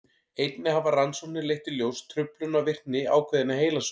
einnig hafa rannsóknir leitt í ljós truflun á virkni ákveðinna heilasvæða